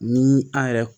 Ni an yɛrɛ